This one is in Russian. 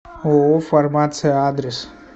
ооо фармация адрес